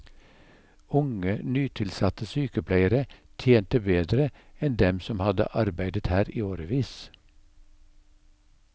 Unge nytilsatte sykepleiere tjente bedre enn dem som hadde arbeidet her i årevis.